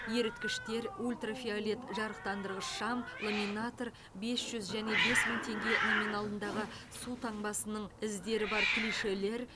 еріткіштер ультрафиолет жарықтандырғыш шам ламинатор бес жүз және бес мың теңге номиналындағы су таңбасының іздері бар клишелер